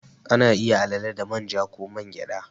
Ana iya alale da man ja ko man gyada.